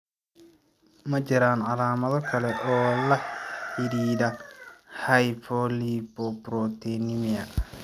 Ma jiraan calaamado kale oo la xidhiidha hypolipoproteinemia?